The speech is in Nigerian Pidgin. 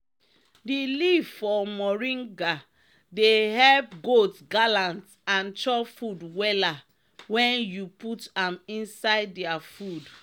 di leaf for mornga dey epp goat gallant and chop food wella wen u put am inisde dia food.